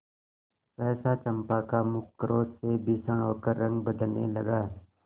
सहसा चंपा का मुख क्रोध से भीषण होकर रंग बदलने लगा